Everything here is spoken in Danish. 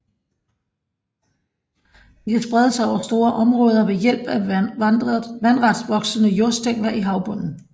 De kan sprede sig over store områder ved hjælp af vandret voksende jordstængler i havbunden